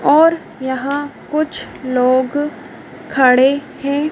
और यहां कुछ लोग खड़े हैं।